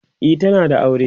e tana da aure